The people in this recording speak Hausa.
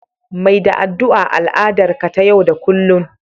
Mai da addu'a al'adar ka ta yau da kullun